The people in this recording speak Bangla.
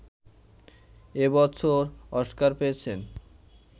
এ বছর অস্কার পেয়েছেন